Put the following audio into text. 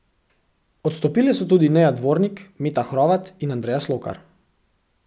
Odstopile so tudi Neja Dvornik, Meta Hrovat in Andreja Slokar.